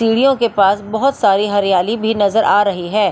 सीढ़ियों के पास बहुत सारी हरियाली भी नजर आ रही है।